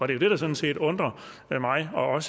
det der sådan set undrer mig og